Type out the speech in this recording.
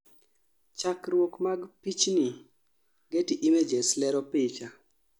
chakruok mag pichni, Getty images lero picha